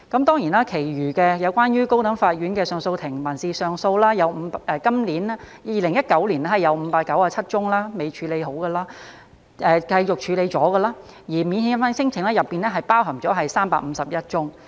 當然其餘有關高等法院的上訴法庭民事上訴方面 ，2019 年有597宗尚未完成處理......繼續處理的，而免遣返聲請佔當中351宗。